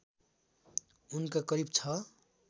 उनका करिब ६